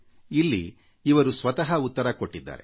ಇಲ್ಲಿ ಇವರು ಸ್ವತಃ ಉತ್ತರ ಕೊಟ್ಟಿದ್ದಾರೆ